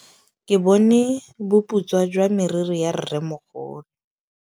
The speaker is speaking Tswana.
Ke bone boputswa jwa meriri ya rrêmogolo.